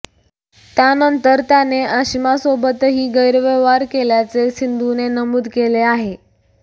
त्यानंतर त्याने आशिमासोबतही गैरव्यवहार केल्याचे सिंधूने नमूद केले आहे